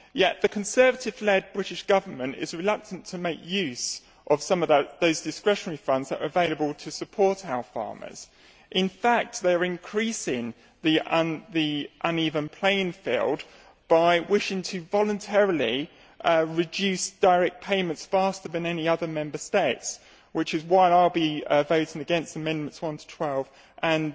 However, the Conservative led British Government is reluctant to make use of some of those discretionary funds that are available to support our farmers. In fact they are increasing the uneven playing field by wishing to voluntarily reduce direct payments faster than any other Member States, which is why I will be voting against Amendments 1 to 12 and